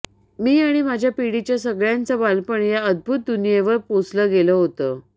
मी आणि माझ्या पिढीच्या सगळ्यांचं बालपण या अद्भुत दुनियेवर पोसलं गेलं होतं